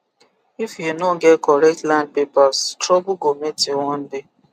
if you no get correct land papers trouble go meet you one day